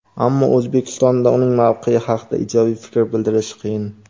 ammo O‘zbekistonda uning mavqeyi haqida ijobiy fikr bildirish qiyin.